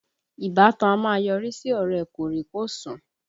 Ìbátan a máa yọrí sí ọ̀rẹ́ ẹ kòríkòsùn